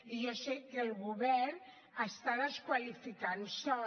i jo sé que el govern desqualifica sòl